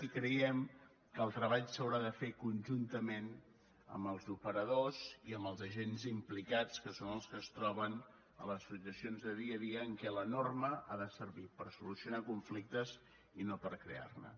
i creiem que el treball s’haurà de fer conjuntament amb els operadors i amb els agents implicats que són els que es troben a les situacions de dia a dia en què la norma ha de servir per solucionar conflictes i no per crear ne